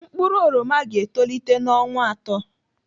Mkpụrụ oroma ga-etolite n'ọnwa atọ.